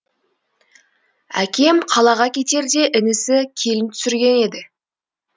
әкем қалаға кетерде інісі келін түсірген еді